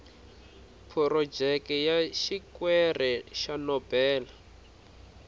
phurojeke ya xikwere xa nobel